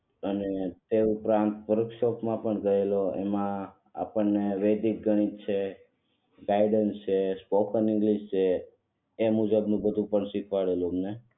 અને તે ઉપરાંત વર્કશોપ માં પણ ગયેલો એમાં આપણને વેદિક ગણિત છે ગાઈડન્સ છે સ્પોકન ઇંગ્લિશ છે એ બધું મુજબ નું પણ શીખવાડેલું અમને